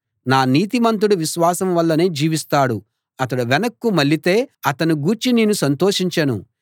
నా నీతిమంతుడు విశ్వాసం వల్లనే జీవిస్తాడు అతడు వెనక్కు మళ్ళితే అతణ్ణి గూర్చి నేను సంతోషించను